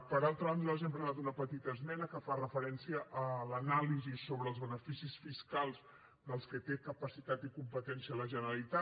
per altra banda nosaltres hem presentat una petita esmena que fa referència a l’anàlisi sobre els beneficis fiscals dels que té capacitat i competència la generalitat